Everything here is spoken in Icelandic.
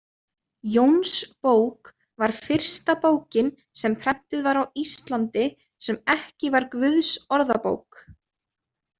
Jónsbók var fyrsta bókin sem prentuð var á Íslandi, sem ekki var Guðsorðabók.